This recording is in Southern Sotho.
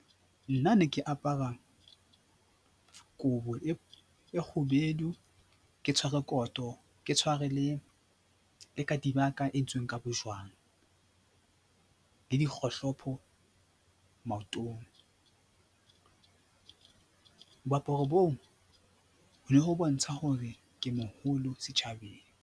Nna ne ke apara kobo e kgubedu, ke tshware koto, ke tshware le entsweng ka bojwang le dikgohlopo maotong. Moaparo boo ho ne ho bontsha hore ke moholo setjhabeng.